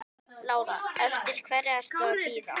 Lára: Eftir hverri ertu að bíða?